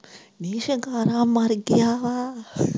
ਨੀ ਸਿੰਗਾਰਾ ਮਰ ਗਿਆ।